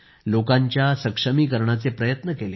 लोकांच्या सशक्तीकरणाचे प्रयत्न केले